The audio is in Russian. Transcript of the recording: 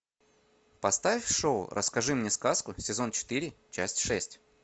поставь шоу расскажи мне сказку сезон четыре часть шесть